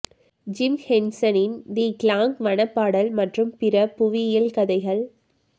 gym ஹென்சனின் the கிளாங் வன பாடல் மற்றும் பிற புவியியல் கதைகள்